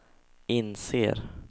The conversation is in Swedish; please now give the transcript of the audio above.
inser